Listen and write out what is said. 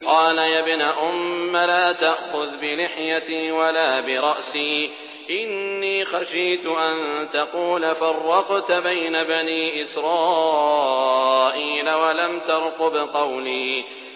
قَالَ يَا ابْنَ أُمَّ لَا تَأْخُذْ بِلِحْيَتِي وَلَا بِرَأْسِي ۖ إِنِّي خَشِيتُ أَن تَقُولَ فَرَّقْتَ بَيْنَ بَنِي إِسْرَائِيلَ وَلَمْ تَرْقُبْ قَوْلِي